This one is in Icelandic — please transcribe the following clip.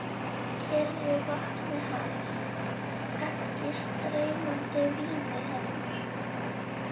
Kyrru vatni hans, ekki streymandi víni hennar.